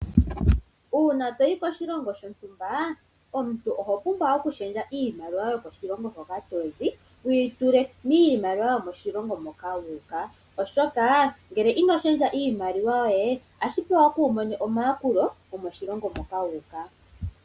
Uuna toyi koshilongo shontumba oho pumbwa okushendja iimaliwa yokoshilongo hoka tozi , wuyi tule miimaliwa yomoshilongo moka oshoka ngele ino shendja iimaliwa yoye otashi vulika kuumone omayakulo gomoshilongo shoka wuuka.